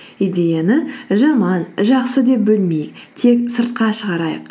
идеяны жаман жақсы деп бөлмей тек сыртқа шығарайық